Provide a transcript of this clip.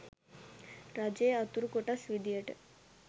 රජයේ අතුරු කොටස් විදියට